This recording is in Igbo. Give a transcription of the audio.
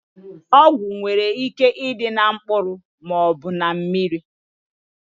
Ọgwụ nwere ike ịdị na mkpụrụ maọbụ na mmiri